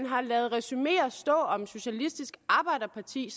har ladet resumeer om socialistisk arbejderparti